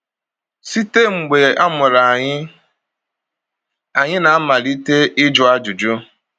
Site mgbe a mụrụ anyị, anyị na-amalite ịjụ ajụjụ...